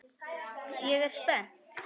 Ég er spennt.